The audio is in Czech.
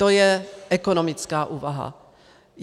To je ekonomická úvaha.